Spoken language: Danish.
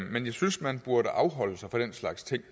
men jeg synes at man burde afholde sig fra den slags ting